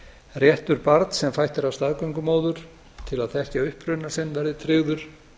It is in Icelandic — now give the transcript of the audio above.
réttur barns sem fætt er af staðgöngumóður til að þekkja uppruna sinn verði tryggður